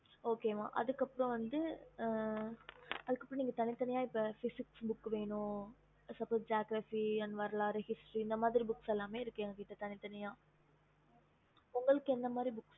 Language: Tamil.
okey mam